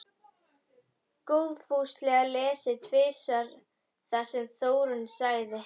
Góðfúslega lesið tvisvar það sem Þórunn sagði.